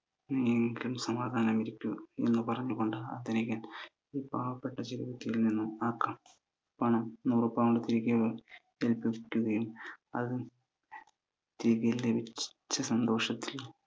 നീയെങ്കിലും സമാധാനമായിരിക്കു. എന്ന് പറഞ്ഞു കൊണ്ട് ധനികൻ പാവപ്പെട്ട ചെരുപ്പുകുത്തിയിൽ നിന്ന് ആ പണം, നൂറു pound തിരികെ എടുക്കുകയും, അത് തിരികെ ലഭിച്ച സന്തോഷത്തിൽ